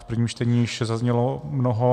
V prvním čtení již zaznělo mnoho.